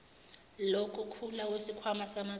lokukhula kwesikhwama samacebo